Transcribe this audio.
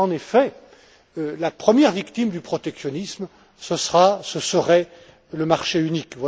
En effet, la première victime du protectionnisme, ce serait le marché unique.